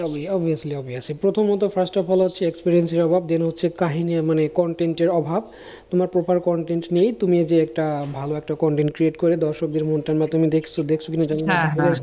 ভাইয়া obviously obviously প্রথমত first of all হচ্ছে experience এর অভাব then হচ্ছে, কাহিনী মানে হচ্ছে content এর অভাব তোমার proper content নেই, তুমি যে একটা ভালো একটা content create করে দর্শকদের মধ্যে তুমি দেখছো, দেখছো কি না জানি না।